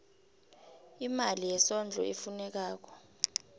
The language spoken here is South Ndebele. imali yesondlo efunekako